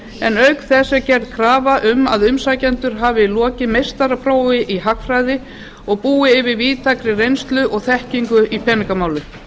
en auk þess er gerð krafa um að umsækjendur hafi lokið meistaraprófi í hagfræði og búi yfir víðtækri reynslu og þekkingu í peningamálum